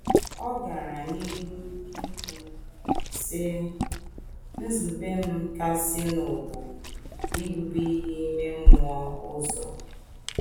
Ọ gara n’ihu ikwu, sị: “ Nzube m kasịnụ bụ ibute ihe ime mmụọ ụzọ.